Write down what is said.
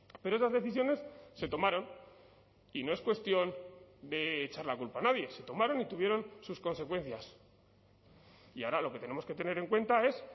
pero esas decisiones se tomaron y no es cuestión de echar la culpa a nadie se tomaron y tuvieron sus consecuencias y ahora lo que tenemos que tener en cuenta es